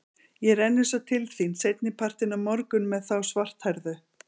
Ég renni svo til þín seinni partinn á morgun með þá svarthærðu.